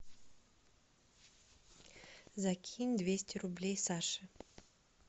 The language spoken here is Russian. закинь двести рублей саше